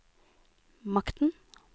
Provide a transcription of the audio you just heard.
makten